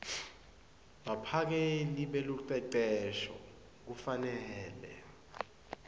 baphakeli belucecesho kufanele